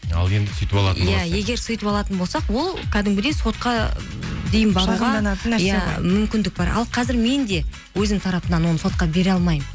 ал енді сөйтіп алатын егер сөйтіп алатын болсақ ол кәдімгідей сотқа дейін иә мүмкіндік бар ал қазір мен де өзімнің тарапымнан оны сотқа бере алмаймын